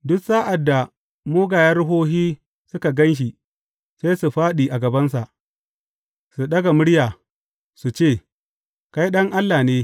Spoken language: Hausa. Duk sa’ad da mugayen ruhohi suka gan shi, sai fāɗi a gabansa, su ɗaga murya, su ce, Kai Ɗan Allah ne.